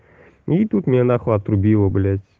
и тут мне на хуй отрубило блядь